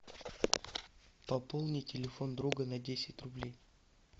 пополни телефон друга на десять рублей